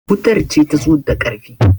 wutar ce ta zo da ƙarfi